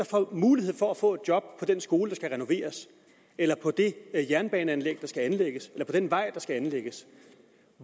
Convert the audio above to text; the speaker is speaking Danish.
får mulighed for at få et job på den skole der skal renoveres eller på det jernbaneanlæg der skal anlægges eller på den vej der skal anlægges